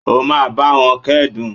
O máa báwọn kẹ́dùn.